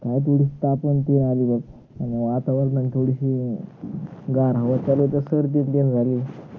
काय थोड ताप येवून राहील अं आणि आता एकदम थोडीशी गार हवा चालू आहे तर सर्दी पण झाली